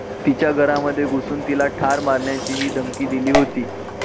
तिच्या घरामध्ये घुसून तिला ठार मारण्याचीही धमकी दिली होती.